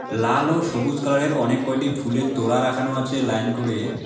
লাল ও সবুজ কালারের অনেক কয়টি ফুলের তোড়া রাখানো আছে লাইন করে।